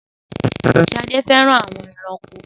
Sade fẹràn awọn ẹranko